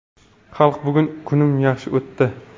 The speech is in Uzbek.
Xalq, bugun kunim yaxshi o‘tdi.